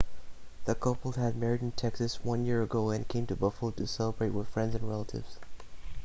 the couple had married in texas one year ago and came to buffalo to celebrate with friends and relatives